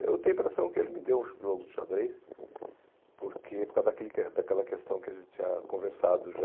Eu tenho a impressão que ele me deu o jogo de xadrez porque por causa daquele ques daquela questão que a gente tinha conversado já.